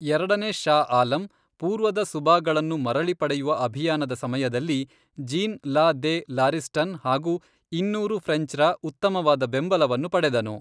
ಎರಡನೇ ಷಾ ಆಲಂ, ಪೂರ್ವದ ಸುಬಾಗಳನ್ನು ಮರಳಿ ಪಡೆಯುವ ಅಭಿಯಾನದ ಸಮಯದಲ್ಲಿ ಜೀನ್ ಲಾ ದೆ ಲಾರಿಸ್ಟನ್ ಹಾಗು ಇನ್ನೂರು ಫ್ರೆಂಚ್ರ ಉತ್ತಮವಾದ ಬೆಂಬಲವನ್ನು ಪಡೆದನು.